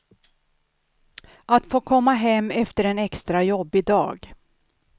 Att få komma hem efter en extra jobbig dag.